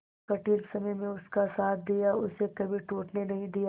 कठिन समय में उसका साथ दिया उसे कभी टूटने नहीं दिया